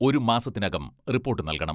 ഒരു മാസത്തിനകം റിപ്പോട്ട് നൽകണം.